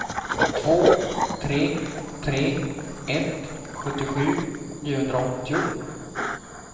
två tre tre ett sjuttiosju niohundraåttio